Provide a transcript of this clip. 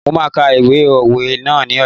Mo máa ka ìwé òwe ná ní ọ̀la.